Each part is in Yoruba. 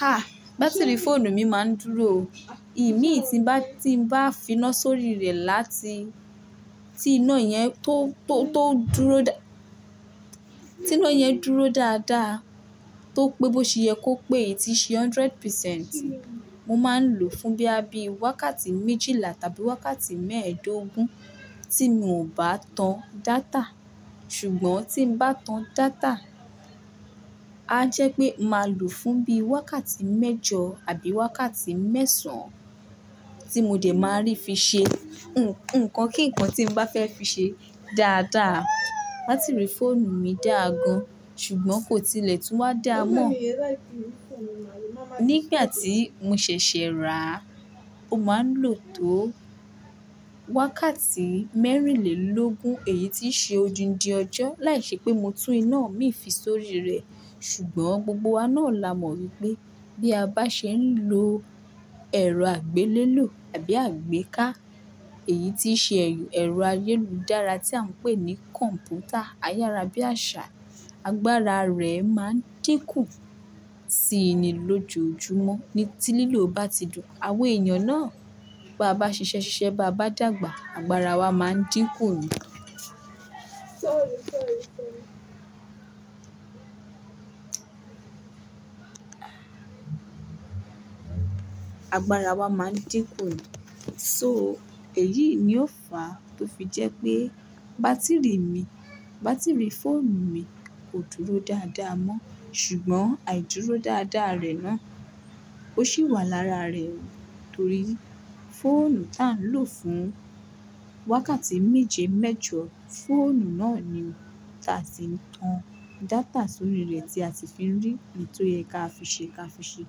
Ha! Bátírì fóònù mi máa ń dúrò o. Imií tí n bá ti bá finá sórí rẹ̀ láti, ti iná yẹn tó, tó, tó dúró dá-- ti iná yẹn dúró dáadáa, tó pé bó ti yẹ kó pé, ti ṣe hundred percent, mo máa ń lò fún bí i wákàtí méjìlá tàbí wákàtí mẹ́ẹ́dógún tí mo bá tan data. Sùgbọ́n tí mo bá tan data, á jẹ́ pé màa lò fún bi wákàtí mẹ́jọ àbí wákàtí mẹ́sàn-án tí mo dè má rí fi ṣe. Nǹkan kínnkan tí mo bá fẹ́ fi ṣe dáadáa. Bátírì fóònù mi dáa gan. Sùgbọ́n kò tilẹ̀ tún wá dáamọ́. Nígbà tí mo ṣẹ̀ṣẹ̀ rà á, ó máa ń lò tó wákàtí mẹ́rìnlélógún. Èyí ti ṣe ojú ń di ọjọ́. Láìṣẹ pé mo tún iná mì fi sórí rẹ̀. Sùgbọ́n gbogbo wá náà la mọ̀ pé bí a bá ṣe ń lo ẹ̀rọ àgbélélò àbí àgbéká, èyí ti ṣe ẹ̀rọ, ẹ̀rọ ayélùdára tí à ń pè ní kọ̀m̀pútà. Ayará bí i àṣà. Agbára rẹ̀ máa ń dínkù síi ni lójoojúmọ́. Ní ti lílò bá ti dùn. Àwọn ènìyàn náà, bí a bá ṣiṣẹ́ ṣiṣẹ́ bá a bá dàgbà, agbára wa máa ń dínkù ni. Agbára wa máa ń dínkù ni. So, èyí ni ó fà á tó fi jẹ́ pé bátírì mi, bátírì fóònù mi kò dúró dáadáa mọ́. Sùgbọ́n àìdúró dáadáa rẹ̀ náà, ó sì wà lára rẹ̀. Nitorí fóònù tán lò fún wákàtí méje mẹ́jọ, fóònù náà ni tà á ti ń tan data sórí rẹ̀ tí a ti fi ń rí ètò yẹn ká fi ṣe ká fi ṣe.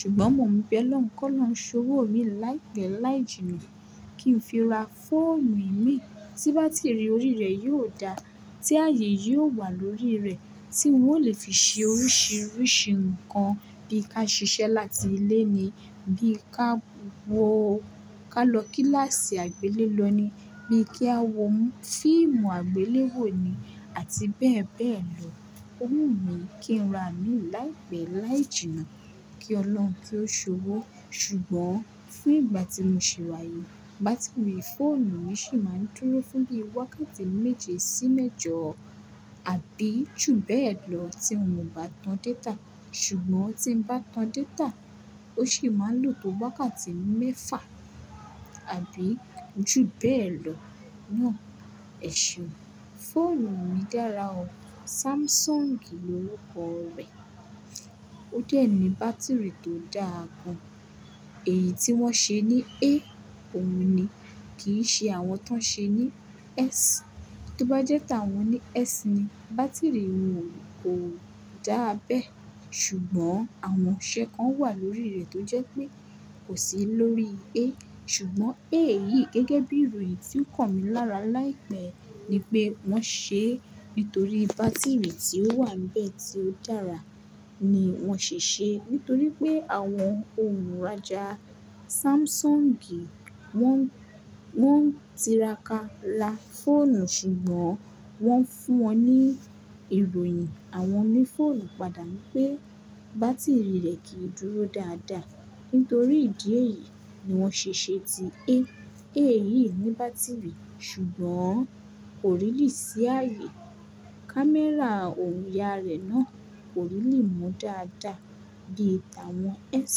Sùgbọ́n mọ̀ n bẹ́ l'Ọlọ́un ko o'lọun sowo imi láìpẹ́, láìjínà kí n fi ra fóònù imí tí bátírì orí rẹ̀ yóò dá, tí ayé yóò wà lórí rẹ̀, tí n ò lè fi ṣe oríṣiríṣi nǹkan bí i ká ṣiṣẹ́ láti ilé ni, bí i ká wọ-- ka lọ kíláàsì àgbélé lọ ni, bí i kí á wo fíìmù àgbélé wò ni àti bẹ́ẹ̀ bẹ́ẹ̀ lọ. Owu mi kí n ra mì l'áìpẹ́ láìjínà. Kí Ọlọ́run kí ó ṣọwọ́. Sùgbọ́n fún ìgbà tí mo ṣi wáyii, bátírì fóònù mi ṣì máa ń dúró fún bi wákàtí méje sí mẹ́jọ àbí jù bẹ́ẹ̀ lọ tí mio bá tan data. Sùgbọ́n tí mo bá tan data, ó sì máa ń lò tó wákàtí mẹ́fà àbí jù bẹ́ẹ̀ lọ. Náà ẹ̀ṣeun, fóònù mi dára o. Samsung l'órukọ̀ rẹ̀. Ó dẹ́ ni bátírì tó dáa gan. Èyí tí wọ́n ṣe ní A, òun ni. Kì í ṣe àwọn tó ṣe ní S. Tó bá jẹ́ tàwọn ní S ni, bátírì wọn ò dáa bẹ́ẹ̀. Sùgbọ́n àwọn ọṣẹ kan wà lórí rẹ̀ tó jẹ́ pé kò sí lórí A. Sùgbọ́n A yìí gẹ́gẹ́ bí ìròyìn tí ó kàn mi lára láìpẹ́ ni pé wọ́n ṣe é nítorí bátírì tí ó wà bẹ́ẹ̀ tí ó dára ni wọ́n ṣe é. Nítorí pé àwọn olùrajà Samsung wọ́n, wọ́n tiraka ra fóònù. Sùgbọ́n wọ́n fún wọn ní ìròyìn. Àwọn oní fóònù padà ní pé bátírì rẹ̀ kì í dúró dáadáa. Nítorí ìdí èyí ni wọ́n ṣe ṣe ti A. A yìí ní bátírì. Sùgbọ́n kò rílì sí ayé. Kámẹ́rà òun yá rẹ̀ náà kò rílì mu dáadáa bíi tàwọn S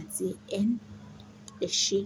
àti N. Ẹ̀ṣẹ́.